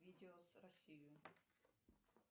видео с россию